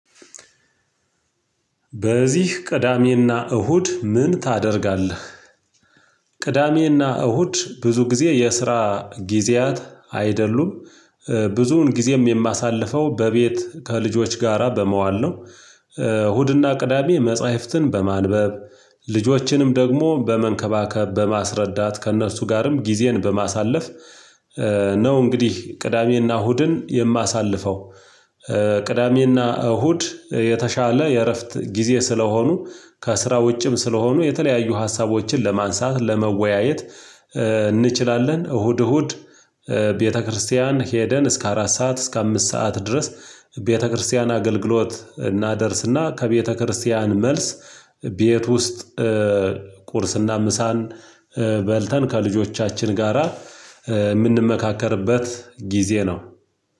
በዚህ ቅዳሜና እሁድ ምን ታደርጋለህ? ቅዳሜና እሁድ ብዙ ጊዜ የስራ ጊዜያት አይደሉም ብዙውን ጊዜም የማሳልፈው በቤት ከልጆች ጋራ በመዋል ነው እሁድና ቅዳሜ መጽሐፍትን በማንበብ ልጆችንም ደግሞ በመንከባከብ በማስረዳት ከእነሱ ጋርም ጊዜን በማሳለፍ ነው እንግዲህ ቅዳሜና እሁድን የማሳልፈው ቅዳሜና እሁድ የተሻለ የእረፍት ጊዜ ስለሆኑ ከስራ ውጭም ስለሆኑ የተለያዩ ሀሳቦችን ለማንሳት ለመወያየት እንችላለን እሁድ እሁድ ቤተክርስቲያን ሄደን እስከ አራት ሰዓት እስከ አምስት ሰዓት ድረስ ቤተክርስቲያን አገልግሎት እናደርስና ከቤተክርስቲያን መልስ ቤት ውስጥ ቁርስና ምሳን በልተን ከልጆቻችን ጋራ የምንመካከርበት ጊዜ ነው